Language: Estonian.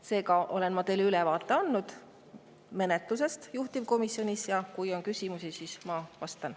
Seega olen ma teile andnud ülevaate menetlusest juhtivkomisjonis ja kui on küsimusi, siis ma vastan.